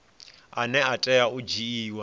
ane a tea u dzhiiwa